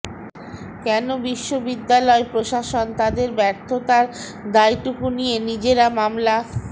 কেন বিশ্ববিদ্যালয় প্রশাসন তাদের ব্যর্থতার দায়টুকু নিয়ে নিজেরা মামলা